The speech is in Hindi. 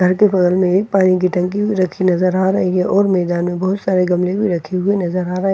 घर के बगल में एक पानी की टंकी भी रखी नजर आ रही है और मैदान में बहुत सारे गमले भी रखे हुए नजर आ रहे --